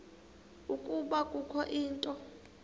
ukuba kukho into